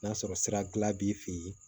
N'a sɔrɔ sira b'i fɛ yen